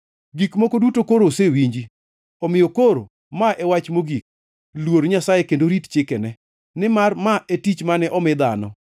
Gik moko duto koro osewinji, omiyo koro ma e wach mogik: Luor Nyasaye kendo rit chikene nimar ma e tich mane omi dhano.